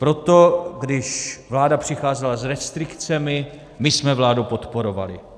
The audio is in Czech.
Proto když vláda přicházela s restrikcemi, my jsme vládu podporovali.